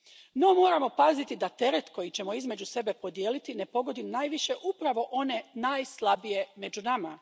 No moramo paziti da teret koji ćemo između sebe podijeliti ne pogodi najviše upravo one najslabije među nama.